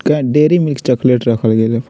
dairy Milk chocolate रखल गेले --